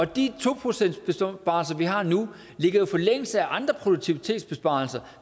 de to procentsbesparelser vi har nu ligger jo i forlængelse af andre produktivitetsbesparelser